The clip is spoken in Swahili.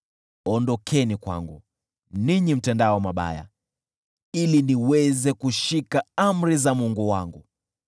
Ondokeni kwangu, ninyi mtendao mabaya, ili niweze kushika amri za Mungu wangu!